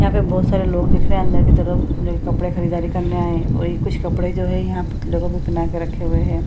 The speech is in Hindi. यहां पे भी बहुत सारे लोग दिख रहे है अंदर की तरफ जोकि कपड़े की खरीदारी करने आए है और ये कुछ कपड़े जो है यहाँ पे पुतलो को भी पहना कर रखा गया है।